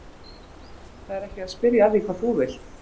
Heimir: Það er ekki að spyrja að því hvað þú vilt?